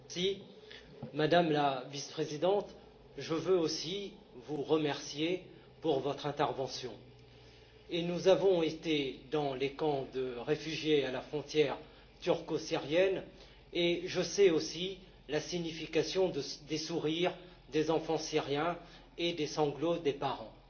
Madame la Présidente, Madame la Vice présidente, je voudrais aussi vous remercier pour votre intervention. Nous avons été dans les camps de réfugiés à la frontière turco syrienne, et je connais la signification des sourires des enfants syriens et des sanglots des parents.